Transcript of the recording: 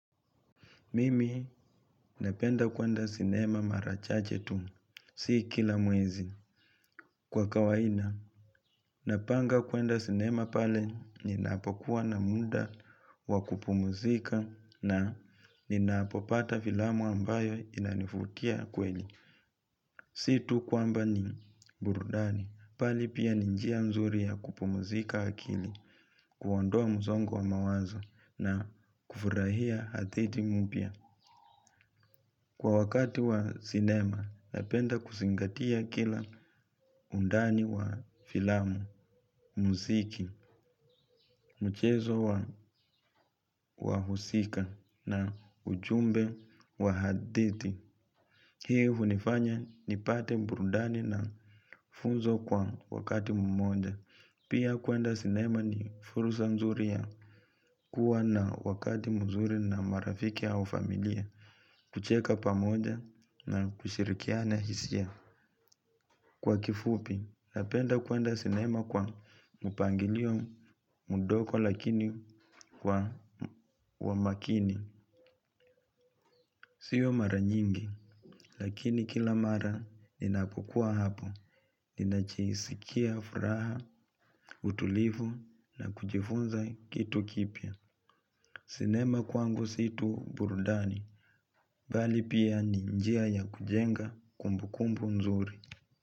Mimi napenda kuenda sinema mara chache tu, si kila mwezi. Kwa kawaida, napanga kwenda sinema pale ninapokuwa na muda wa kupumzika na ninapopata filamu ambayo inanivutia kweli. Si tu kwamba ni burudani, bali pia ni njia nzuri ya kupumuzika akili, kuondoa msongo wa mawazo na kufurahia hadithi mpya. Kwa wakati wa sinema, napenda kuzingatia kila undani wa filamu, muziki, mchezo wa wahusika na ujumbe wa hadithi. Hii hunifanya nipate burudani na funzo kwa wakati mmoja. Pia kuenda sinema ni fursa nzuri ya kuwa na wakati mzuri na marafiki au familia, kucheka pamoja na kushirikiana hisia. Kwa kifupi, napenda kuenda sinema kwa mpangilio mdogo lakini wa makini. Sio mara nyingi, lakini kila mara ninapokuwa hapo. Ninajisikia furaha, utulivu na kujifunza kitu kipya. Sinema kwangu si tu burudani, bali pia ni njia ya kujenga kumbukumbu nzuri.